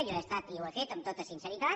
jo he estat i ho he fet amb tota sinceritat